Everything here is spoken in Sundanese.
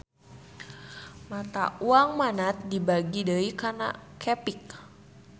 Mata uang Manat dibagi deui kana qepik